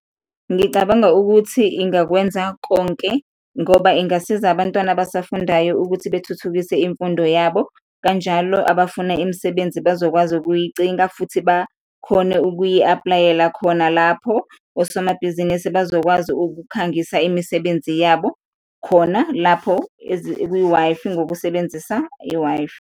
Ngicabanga ukuthi ingakwenza konke ngoba ingasiza abantwana abasafundayo ukuthi bethuthukise imfundo yabo, kanjalo abafuna imisebenzi bazokwazi ukuyicinga futhi bakhone ukuyi-apply-yela khona lapho, osomabhizinisi bazokwazi ukukhangisa imisebenzi yabo khona lapho kwi-Wi-Fi, ngokusebenzisa i-Wi-Fi.